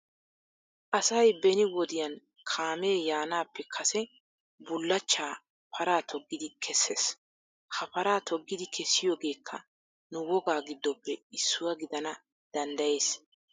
Asay beni wodiyan kaamee yaanaappe Kase bullachchaa paraa toggidi kesses. Ha paraa toggidi kessiyoogeekka nu wogaa giddoppe issuwa gidana danddayees.